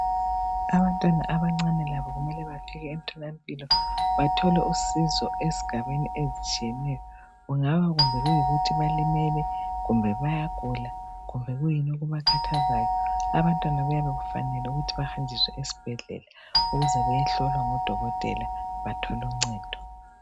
Abantwana abancane labo kumele bafike emtholampilo bathole usizo ezigabeni ezitshiyeneyo. Kungabe kuyikuthi balimele kumbe bayagula kumbe kuyini okubakhathazayo abantwana kufanele bahambe ezibhedlela bayehlolwa ngodokotela bathole uncedo.